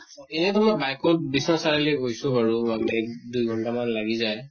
এয়েতো মই bike বিশ্বনাথ চাৰিআলি গৈছো বাৰু এক দুই ঘন্টা মান লাগি যায়